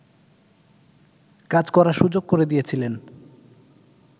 কাজ করার সুযোগ করে দিয়েছিলেন